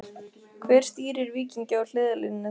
Hver stýrir Víkingi á hliðarlínunni þar?